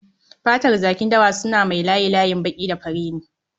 Fatar jakin dawa suna mai layi-layin baƙi da fari ne